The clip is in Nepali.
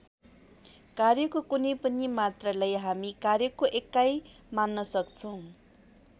कार्यको कुनै पनि मात्रालाई हामी कार्यको एकाई मान्न सक्छौं।